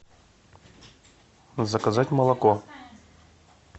заказать молоко